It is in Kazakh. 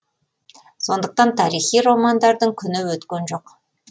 сондықтан тарихи романдардың күні өткен жоқ